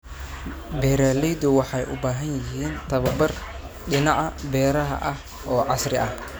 Beeraleydu waxay u baahan yihiin tababar dhinaca beeraha ah oo casri ah.